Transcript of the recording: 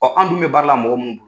an dun bɛ baara la mɔgɔ minnu